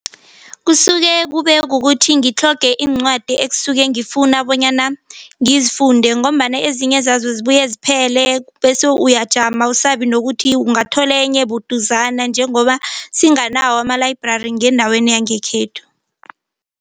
Kusuke kube kukuthi ngitlhoge iincwadi ekusuke ngifuna bonyana ngizifunde ngombana ezinye zazo zibuye ziphele bese uyajama awusabi nokuthi ungathola enye buduzana njengoba singanawo ama-library ngendaweni yangekhethu.